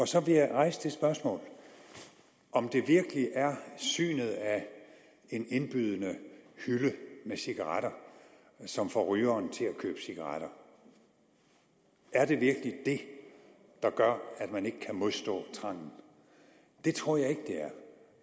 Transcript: så vil jeg rejse det spørgsmål om det virkelig er synet af en indbydende hylde med cigaretter som får rygeren til at købe cigaretter er det virkelig det der gør at man ikke kan modstå trangen det tror jeg ikke det er